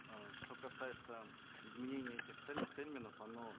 э что касается изменений этих терминов оно